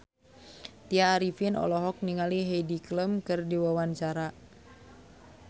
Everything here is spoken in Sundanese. Tya Arifin olohok ningali Heidi Klum keur diwawancara